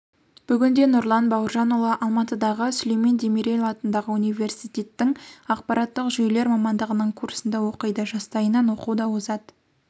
бүгінде нұрлан бауыржанұлы алматыдағы сүлеймен демирел атындағы университеттің ақпараттық жүйелер мамандығының курсында оқиды жастайынан оқуда озат